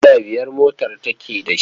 Giya biyar motar take da shi.